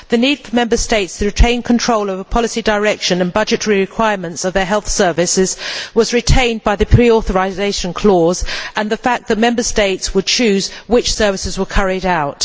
The need for Member States to retain control over the policy direction and budgetary requirements of their health services was met by the pre authorisation clause and the fact that Member States would choose which services were carried out.